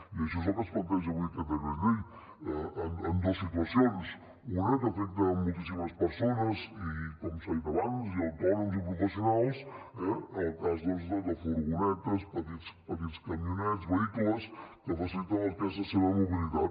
i això és el que planteja avui aquest decret llei en dos situacions una que afecta moltíssimes persones i com s’ha dit abans i autònoms i professionals eh en el cas doncs de que furgonetes petits camionets vehicles que faciliten el que és la seva mobilitat